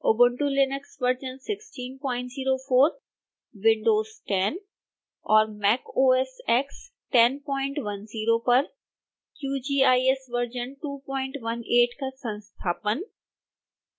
ubuntu linux version 1604 windows 10 और mac os x 1010 पर qgis version 218 का संस्थापन